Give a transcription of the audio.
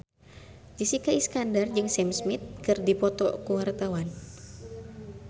Jessica Iskandar jeung Sam Smith keur dipoto ku wartawan